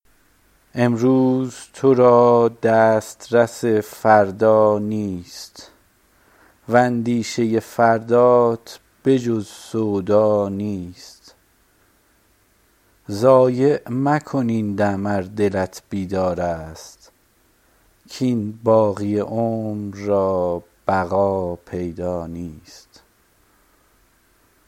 امروز تو را دسترس فردا نیست و اندیشه فردات به جز سودا نیست ضایع مکن این دم ار دلت بیدار است کاین باقی عمر را بقا پیدا نیست